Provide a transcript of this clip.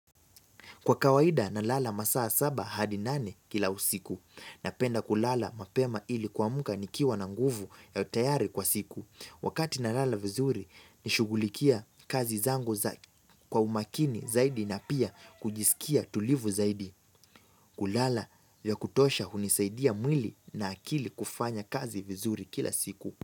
Kwa kawaida na lala masaa saba hadi nane kila usiku. Napenda kulala mapema ili kuamka nikiwa na nguvu ya utayari kwa siku. Wakati na lala vizuri nishughulikia kazi zangu za kwa umakini zaidi na pia kujiskia tulivu zaidi. Kulala ya kutosha hunisaidia mwili na akili kufanya kazi vizuri kila siku.